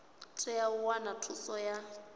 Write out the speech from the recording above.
tea u wana thuso ya